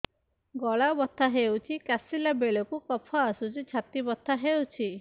ଗଳା ବଥା ହେଊଛି କାଶିଲା ବେଳକୁ କଫ ଆସୁଛି ଛାତି ବଥା ହେଉଛି